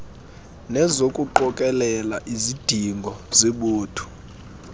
nezokuqokelela izidingo zebutho